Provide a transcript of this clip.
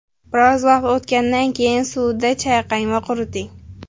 Biroz vaqt o‘tgandan keyin suvda chayqang va quriting.